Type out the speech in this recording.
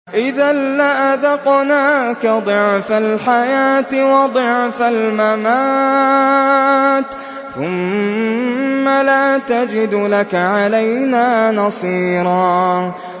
إِذًا لَّأَذَقْنَاكَ ضِعْفَ الْحَيَاةِ وَضِعْفَ الْمَمَاتِ ثُمَّ لَا تَجِدُ لَكَ عَلَيْنَا نَصِيرًا